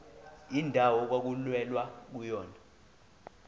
indawo okwakulwelwa kuyona